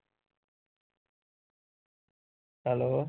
Hello